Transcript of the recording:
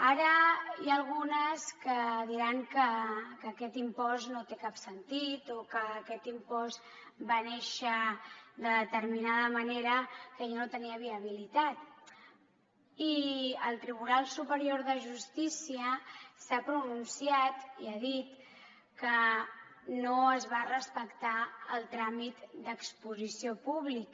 ara n’hi ha algunes que diran que aquest impost no té cap sentit o que aquest impost va néixer de determinada manera que ja no tenia viabilitat i el tribunal superior de justícia s’ha pronunciat i ha dit que no es va respectar el tràmit d’exposició pública